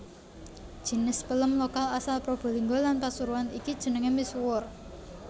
Jinis pelem lokal asal Probolinggo lan Pasuruan iki jenengé misuwur